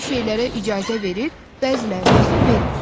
Bəzi şeylərə icazə verir, bəzilərinə isə vermir.